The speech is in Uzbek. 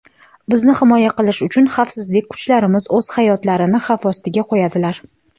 Bizni himoya qilish uchun xavfsizlik kuchlarimiz o‘z hayotlarini xavf ostiga qo‘yadilar.